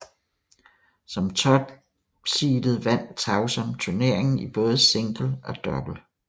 Som topseedet vandt Tauson turneringen i både single og double